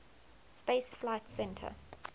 space flight center